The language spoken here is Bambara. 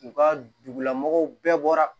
U ka dugulamɔgɔw bɛɛ bɔra